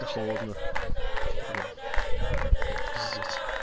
да холодно блядь пиздец